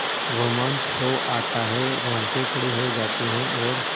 रोमांच हो आता है रोंगटे खड़े हो जाते हैं और